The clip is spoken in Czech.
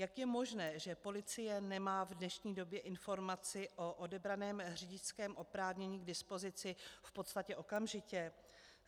Jak je možné, že policie nemá v dnešní době informaci o odebraném řidičském oprávnění k dispozici v podstatě okamžitě?